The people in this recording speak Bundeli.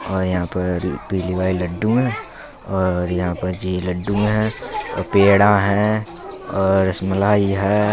और यहां पर पीले वाले लड्डू हैं और यहां पर जे लड्डू है और पेड़ा है और रसमलाई है।